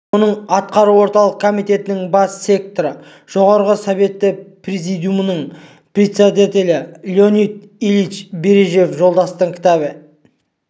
оның арқауы орталық комитетінің бас секретары жоғарғы советі президиумның председателі леонид ильич брежнев жолдастың кітабы